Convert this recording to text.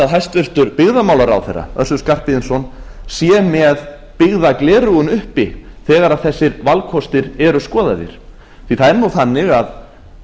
hæstvirtur byggðamálaráðherra össur skarphéðinsson sé með byggðagleraugun uppi þegar þessir valkostir eru skoðaðir því það er þannig að